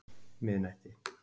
miðnætti